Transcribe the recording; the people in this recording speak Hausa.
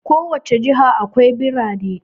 A ko wace jiha akwai birane.